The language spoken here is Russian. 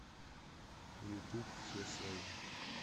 ютуб все свои